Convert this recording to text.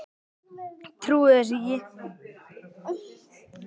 Ég trúi þessu ekki